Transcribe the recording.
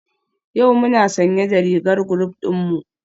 Yau muna sanye da rigar group dinmu?